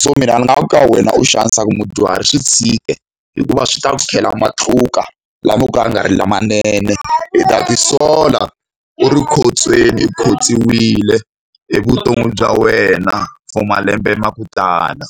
So mina ni nga ya ka wena u xanisaka mudyuhari swi tshike, hikuva swi ta ku khela matluka lama yo ka ya nga ri lamanene. I ta tisola u ri ekhotsweni i khotsiwile, evuton'wini bya wena for malembe ma ku tala.